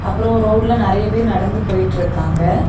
அப்புறம் ரோட்ல நிறைய பேர் நடந்து போயிட்டு இருக்காங்க.